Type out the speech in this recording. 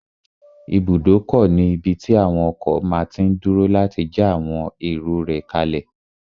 Ibùdókọ̀ ní ibí tí àwon ọkọ̀ máa tí n dúró láti já àwọn èrò rẹ̀ kálẹ̀